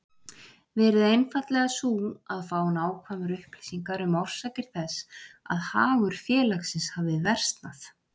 verið einfaldlega sú að fá nákvæmar upplýsingar um orsakir þess að hagur félagsins hafi versnað.